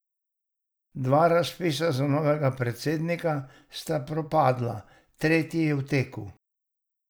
Dva razpisa za novega predsednika sta propadla, tretji je v teku.